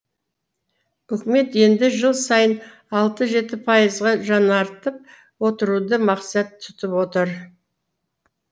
үкімет енді жыл сайын алты жеті пайызға жаңартып отыруды мақсат тұтып отыр